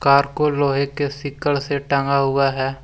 को लोहे के सिकड़ से टांगा हुआ है।